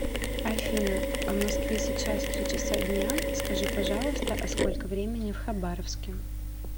афина в москве сейчас три часа дня скажи пожалуйста а сколько времени в хабаровске